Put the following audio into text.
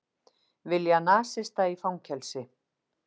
Vilja nasista í fangelsi